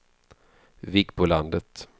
Vikbolandet